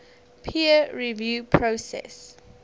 peer review process